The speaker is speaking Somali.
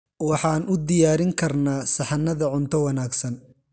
Waxaan u diyaarin karnaa saxannada cunto wanaagsan.